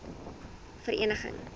verneging